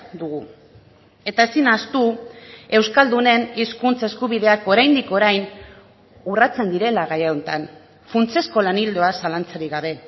dugu eta ezin ahaztu euskaldunen hizkuntza eskubideak oraindik orain urratzen direla gai honetan funtsezko lan ildoa zalantzarik gabe